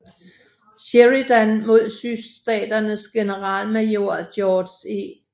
Sheridan mod sydstaternes generalmajor George E